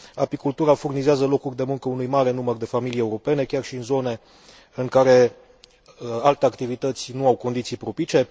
Apicultura furnizează locuri de muncă uni mare număr de familii europene, chiar și în zone în care alte activități nu au condiții propice.